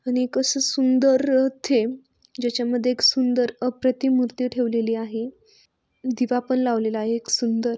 आणि एक आस सुंदर इथे ज्याच्या मध्ये एक सुंदर अप्रतिम मूर्ति ठेवलेली आहे. दिवा पण लावलेल आहे एक सुंदर.